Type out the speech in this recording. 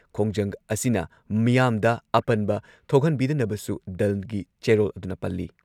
ꯈꯣꯡꯖꯪ ꯑꯁꯤꯅ ꯃꯤꯌꯥꯝꯗ ꯑꯄꯟꯕ ꯊꯣꯛꯍꯟꯕꯤꯗꯅꯕꯁꯨ ꯗꯜꯒꯤ ꯆꯦꯔꯣꯜ ꯑꯗꯨꯅ ꯄꯜꯂꯤ ꯫